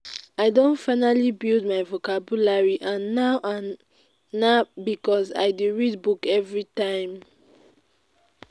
i don finally build my vocabulary and na and na because i dey read book everytime